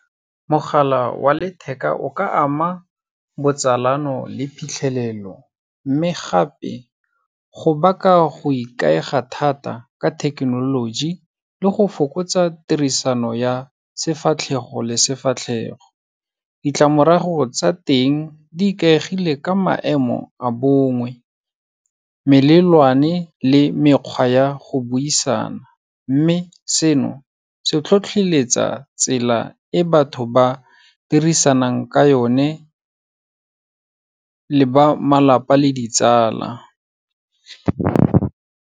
Mogala wa letheka o ka ama botsalano le phitlhelelo, mme gape go baka go ikaega thata ka thekenoloji le go fokotsa tirisano ya sefatlhego le sefatlhego. Ditlamorago tsa teng di ikaegile ka maemo a bongwe, melelwane le mekgwa ya go buisana, mme seno se tlhotlheletsa tsela e batho ba dirisanang ka yone le ba malapa le ditsala.